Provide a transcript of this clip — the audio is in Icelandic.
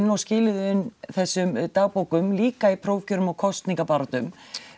og skiluðu inn þessum dagbókum líka í prófkjörum og kosningabaráttu